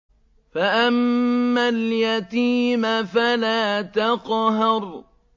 فَأَمَّا الْيَتِيمَ فَلَا تَقْهَرْ